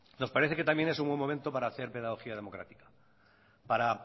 nos parece que también es muy buen momento para hacer pedagogía democrática para